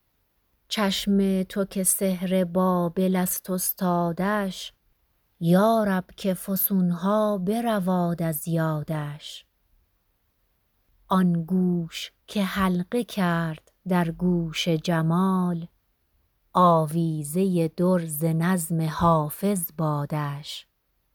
چشم تو که سحر بابل است استادش یا رب که فسون ها برواد از یادش آن گوش که حلقه کرد در گوش جمال آویزه در ز نظم حافظ بادش